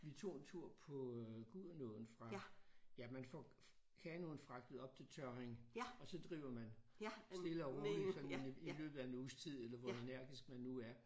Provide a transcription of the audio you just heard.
Vi tog en tur på Gudenåen fra ja man får kanoen fragtet op til Tørring og så driver man stille og roligt sådan i løbet af en uges tid eller hvor energisk man nu er